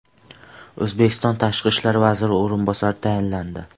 O‘zbekiston Tashqi ishlar vaziri o‘rinbosari tayinlandi.